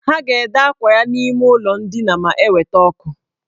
Ha ga-ede akwa ya n' ime ụlọ ndina ma eweta ọkụ.